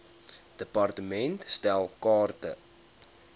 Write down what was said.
department stel kaarte